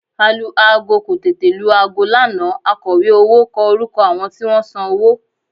Alu-aago kò tètè lu aago lánàá akọ̀wé owó kọ orúkọ àwọn tí wọ́n san owó